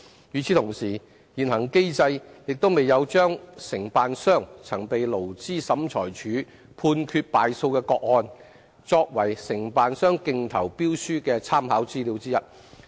與此同時，現行機制亦未有將承辦商曾被勞資審裁處判決敗訴的個案，作為承辦商競投標書的參考資料之一。